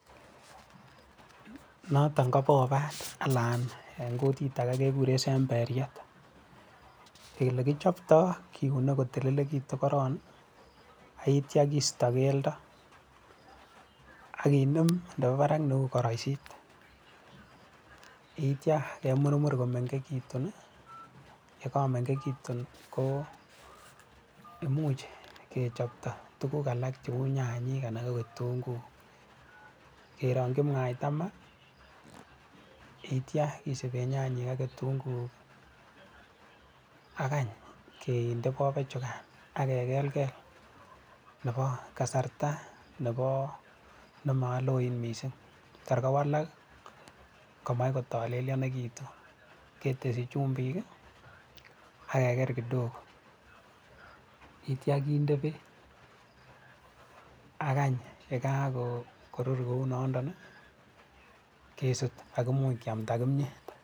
Noton ko bobat anan eng kutit age kekuren semberiet. Ole kichoptoi kiune kotililikitu koron, ye itio keisto keldo, akenem nebo barak neu koroisiet. Ye itio kemurmur ko mengekitun yekakumengekitun ko imuch kechopto tukuk alak cheu nyanyek anan ko kitunnguuk ke rongchi mwaita ma. Ye tio isube nyanyek ak kitunguk akeny kende bobichu kaan akegelgel neboo kasrta nebo, nemo loen mising. Tar kowalak komai kotalelionikitu, ketesyi chumbik akeger kidogo, yeitio kende beek, akany ye ka kokurur kou nondon kesut akeamda kimyet.